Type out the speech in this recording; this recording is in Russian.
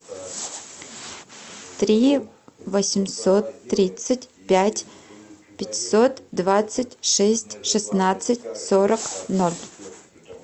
три восемьсот тридцать пять пятьсот двадцать шесть шестнадцать сорок ноль